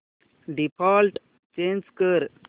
default change कर